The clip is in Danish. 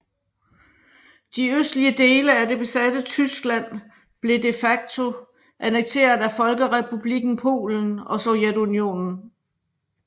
De østlige dele af det besatte Tyskland blev de facto annekteret af Folkerepublikken Polen og Sovjetunionen